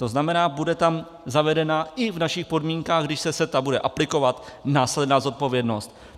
To znamená, bude tam zavedena i v našich podmínkách, když se CETA bude aplikovat, následná zodpovědnost.